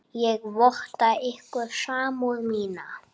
Ég votta ykkur samúð mína.